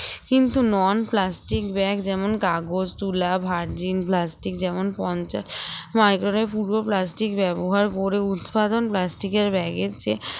কিন্তু non plastic bag যেমন কাগজ তুলা vergin plastic যেমন পঞ্চাশ micron এর পূর্ব plastic ব্যবহার করে উৎপাদন plastic এর bag এর চেয়ে